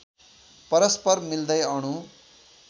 परस्पर मिल्दै अणु